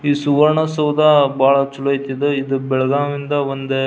ಈ ಸುವರ್ಣ ಸೌದ ಬಹಳ ಚಲೋ ಐತಿ. ಇದು ಬೆಲಗಾವ್ ಇಂದ ಒಂದ --